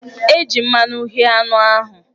E ji mmanụ ghé anụ ahụ.